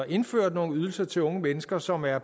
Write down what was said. indført nogle ydelser til unge mennesker som er